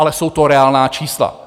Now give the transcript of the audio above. Ale jsou to reálná čísla.